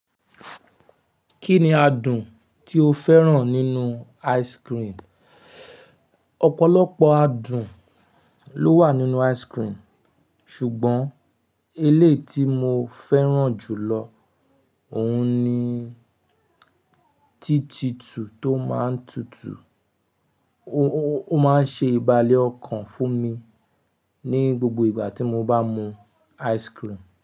Kí ni adùn tí o fẹ́ràn nínú ice cream? Ọ̀pọ̀lọpọ̀ adùn ló wà nínú ice cream ṣùgbọ́n elé tí mo fẹ́ràn jù lọ òun ni títítù tó má ń tutù, ó má ń ṣe ìbálé ọkàn fún mi ní gbogbo ìgbà tí mo bá mú ice cream.